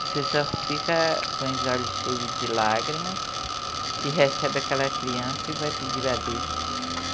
Você só fica com os olhos cheios de lágrimas e recebe aquela criança e vai pedir a Deus.